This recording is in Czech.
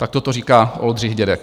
Takto to říká Oldřich Dědek.